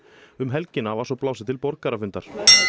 um helgina var svo blásið til borgarafundar